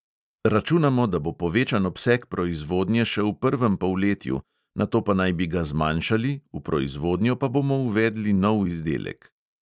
Računamo, da bo povečan obseg proizvodnje še v prvem polletju, nato pa naj bi ga zmanjšali, v proizvodnjo pa bomo uvedli nov izdelek.